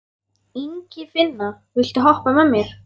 Ingifinna, viltu hoppa með mér?